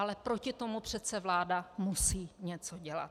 Ale proti tomu přece vláda musí něco dělat.